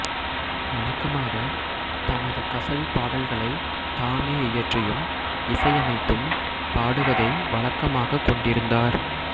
வழக்கமாக தமது கசல் பாடல்களை தாமே இயற்றியும் இசையமைத்தும் பாடுவதை வழக்கமாகக் கொண்டிருந்தாா்